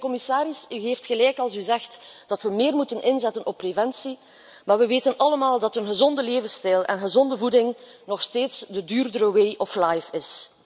En, mijnheer de commissaris, u heeft gelijk als u zegt dat we meer moeten inzetten op preventie, maar we weten allemaal dat een gezonde levensstijl en gezonde voeding nog steeds de duurdere way of life zijn.